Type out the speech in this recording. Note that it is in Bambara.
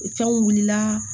Fɛnw wulila